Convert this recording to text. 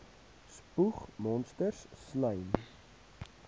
spoeg monsters slym